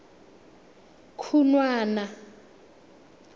khunwana